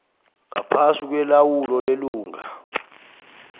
ngaphasi kwelawulo lelunga